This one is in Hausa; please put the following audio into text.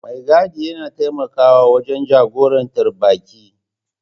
Mai gadi yana taimakawa wajen jagorantar baƙi.